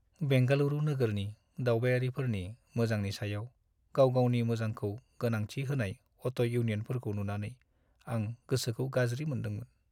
बेंगालुरु नोगोरनि दावबायारिफोरनि मोजांनि सायाव गाव-गावनि मोजांखौ गोनांथि होनाय अट' इउनियनफोरखौ नुनानै आं गोसोखौ गाज्रि मोनदोंमोन।